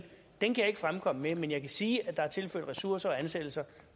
fremkomme med men jeg kan sige at der er tilført ressourcer og ansættelser